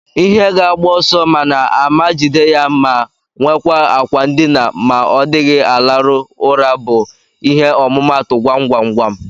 Ihe ga agbo ọsọ mana ama jide ya ma nwekwa akwa ndina ma odighi alarụ ụra bu ihe ọmụmatu gwam-gwam-gwam.